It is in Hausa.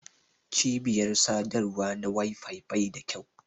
cibiyar sadarwa na wi-fi Bai da kyau.